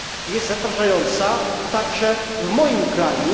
jest zatrważająca, także w moim kraju.